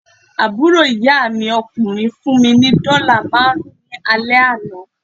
Àbúrò ìyá mi ọkùnrin fún mí ni dọ́là máàrún ní alẹ́ àná